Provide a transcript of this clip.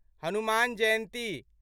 Hanuman Jayanti